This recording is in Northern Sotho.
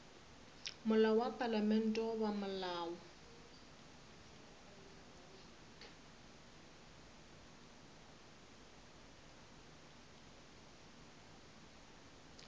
molao wa palamente goba molao